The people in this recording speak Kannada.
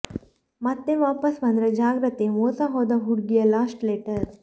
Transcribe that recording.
ಮತ್ತೆ ವಾಪಸ್ ಬಂದ್ರೆ ಜಾಗೃತೆ ಮೋಸ ಹೋದ ಹುಡ್ಗಿಯ ಲಾಸ್ಟ್ ಲೆಟರ್